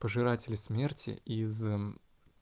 пожиратели смерти из